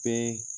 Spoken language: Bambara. Bɛɛ